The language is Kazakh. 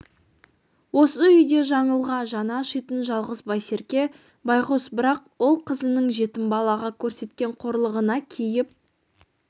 осы үйде жаңылға жаны ашитын жалғыз байсерке байғұс бірақ ол қызының жетім балаға көрсеткен қорлығына кейіп